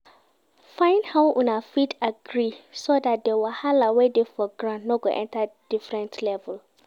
Find how una fit agree so dat di wahala wey dey for ground no go enter different level